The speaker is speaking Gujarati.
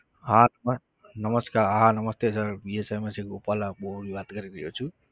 હા આત્મા નમસ્કાર હા નમસ્તે sir થી ગોપાલ આપ બોલ વાત કરી રહ્યો છુ.